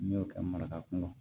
N'i y'o kɛ maraka kun kɔnɔ